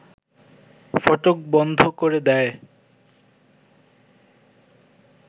ফটক বন্ধ করে দেয়